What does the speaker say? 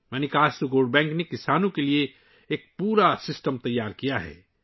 مانیکاستو گوٹ بینک، انہوں نے کسانوں کے لیے ایک مکمل نظام تیار کیا ہے